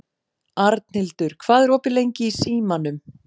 Arnhildur, hvað er opið lengi í Símanum?